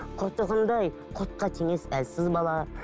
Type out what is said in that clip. құртығындай құртқа теңес әлсіз бала